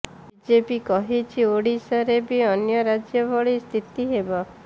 BJP କହିଛି ଓଡିଶାରେ ବି ଅନ୍ୟ ରାଜ୍ୟ ଭଳି ସ୍ଥିତି ହେବ